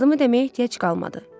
Adımı deməyə ehtiyac qalmadı.